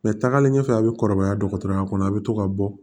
Mɛ tagalen ɲɛfɛ a bɛ kɔrɔbaya dɔgɔtɔrɔya kɔnɔ a' bɛ to ka bɔ